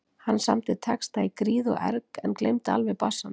Hann samdi texta í gríð og erg en gleymdi alveg bassanum.